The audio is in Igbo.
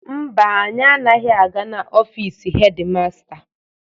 Mba, anyi anaghị aga n'ofiisi hedi masta.